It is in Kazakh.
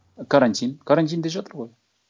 карантин карантинде жатыр ғой